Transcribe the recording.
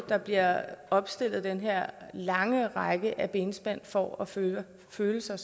der bliver opstillet den her lange række af benspænd for at føle føle sig